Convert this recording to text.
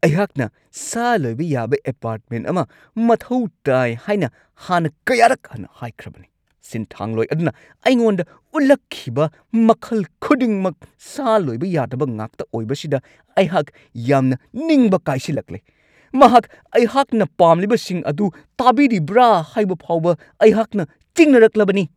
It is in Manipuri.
ꯑꯩꯍꯥꯛꯅ ꯁꯥ ꯂꯣꯏꯕ ꯌꯥꯕ ꯑꯦꯄꯥꯔꯠꯃꯦꯟꯠ ꯑꯃ ꯃꯊꯧ ꯇꯥꯏ ꯍꯥꯏꯅ ꯍꯥꯟꯅ ꯀꯌꯥꯔꯛ ꯍꯟꯅ ꯍꯥꯏꯈ꯭ꯔꯕꯅꯤ ꯫ ꯁꯤꯟꯊꯥꯡꯂꯣꯏ ꯑꯗꯨꯅ ꯑꯩꯉꯣꯟꯗ ꯎꯠꯂꯛꯈꯤꯕ ꯃꯈꯜ ꯈꯨꯗꯤꯡꯃꯛ ꯁꯥ ꯂꯣꯏꯕ ꯌꯥꯗꯕ ꯉꯥꯛꯇ ꯑꯣꯏꯕꯁꯤꯗ ꯑꯩꯍꯥꯛ ꯌꯥꯝꯅ ꯅꯤꯡꯕ ꯀꯥꯏꯁꯤꯜꯂꯛꯂꯦ꯫ ꯃꯍꯥꯛ ꯑꯩꯍꯥꯛꯅ ꯄꯥꯝꯂꯤꯕꯁꯤꯡ ꯑꯗꯨ ꯇꯥꯕꯤꯔꯤꯕ꯭ꯔꯥ ꯍꯥꯏꯕ ꯐꯥꯎꯕ ꯑꯩꯍꯥꯛꯅ ꯆꯤꯡꯅꯔꯛꯂꯕꯅꯤ꯫